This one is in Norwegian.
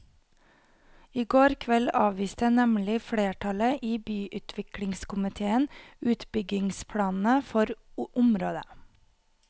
I går kveld avviste nemlig flertallet i byutviklingskomitéen utbyggingsplanene for området.